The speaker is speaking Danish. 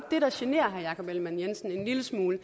det der generer herre jakob ellemann jensen en lille smule